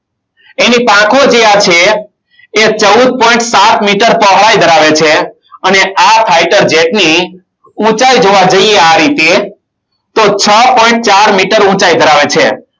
એની પાંખો જ્યાં છે એ ચૌદ point સાત meter પહોળાઈ ધરાવે છે. અને આ fighter jet ની ઊંચાઈ જોવા જઈએ. આ રીતે તો છ point ચાર meter ઊંચાઈ ધરાવે છે.